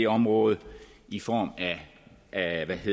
område i form af